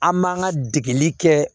An man ka degeli kɛ